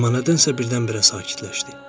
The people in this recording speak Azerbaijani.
Amma nədənsə birdən-birə sakitləşdi.